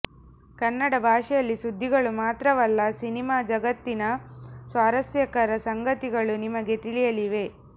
ಕನ್ನಡ ಭಾಷೆಯಲ್ಲಿ ಸುದ್ದಿಗಳು ಮಾತ್ರವಲ್ಲ ಸಿನೆಮಾ ಜಗತ್ತಿನ ಸ್ವಾರಸ್ಯಕರ ಸಂಗತಿಗಳು ನಿಮಗೆ ತಿಳಿಯಲಿವೆ